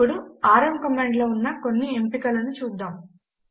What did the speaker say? ఇప్పుడు rm command లో ఉన్న కొన్ని ఎంపికలను చూద్దాము